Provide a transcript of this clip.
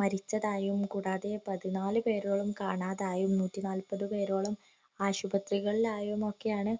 മരിച്ച കാര്യം കൂടുതെ പതിനാലു പേരോളം കാണാതായി നൂറ്റിനാല്പതു പേരോളം ആശുപത്രികളിൽ ആയി യെന്നൊക്കെയാണ്